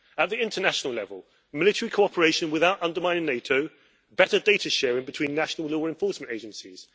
At the international level military cooperation without undermining NATO, better data sharing between national law enforcement agencies